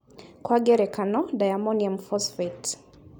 Kwa ngerekano Diammonium phosphate